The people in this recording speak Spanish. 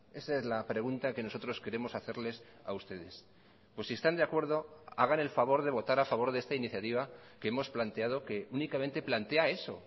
esa es la pregunta que nosotros queremos hacerles a ustedes pues si están de acuerdo hagan el favor de votar a favor de esta iniciativa que hemos planteado que únicamente plantea eso